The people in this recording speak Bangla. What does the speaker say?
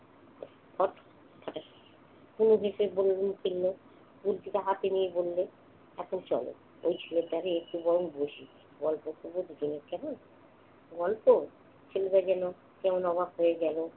খট্ খটাস তনু গুলতিটা হাতে নিয়ে বলল, এখন চল। ওই একটু বরং বসি। গল্প করব দুজনে কেমন? গল্প? ছেলেটা যেন কেমন অবাক হয়ে গেল।